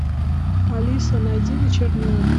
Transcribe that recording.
алиса найди вечерний ургант